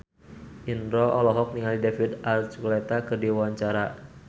Indro olohok ningali David Archuletta keur diwawancara